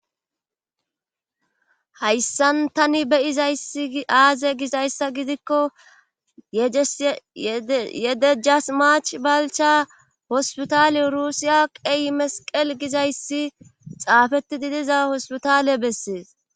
hayssan tani be'izayssi aaze gizayssa gidikko yedejas mach balcha hospitale rusiya qey mesiqel gizayssi xaafetidi diza hospitale bessees